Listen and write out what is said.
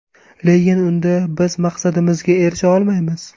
Lekin unda biz maqsadimizga erisha olmaymiz.